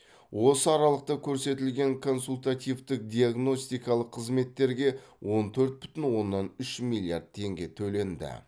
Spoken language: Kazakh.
осы аралықта көрсетілген консультативтік диагностикалық қызметтерге он төрт бүтін оннан үш миллиард теңге төленді